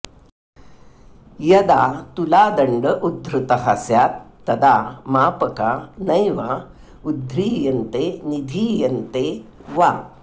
यदा तुलादण्ड उद्धृतः स्यात् तदा मापका नैवा उद्ध्रीयन्ते निधीयन्ते वा